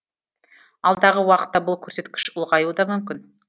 алдағы уақытта бұл көрсеткіш ұлғаюы да мүмкін